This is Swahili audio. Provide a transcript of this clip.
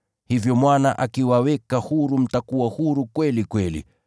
Hivyo Mwana akiwaweka huru mtakuwa huru kweli kweli.